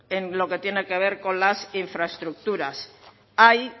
en lo que tiene que ver con las infraestructuras hay